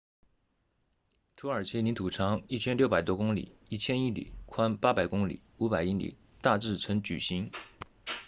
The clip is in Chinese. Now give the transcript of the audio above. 土耳其领土长 1,600 多公里 1,000 英里宽800公里500英里大致呈矩形